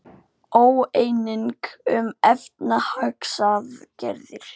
Óeining um efnahagsaðgerðir